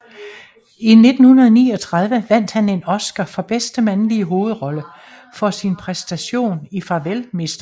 I 1939 vandt han en Oscar for bedste mandlige hovedrolle for sin præstation i Farvel Mr